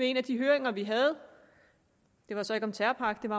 en af de høringer vi havde det var så ikke om terrorpakken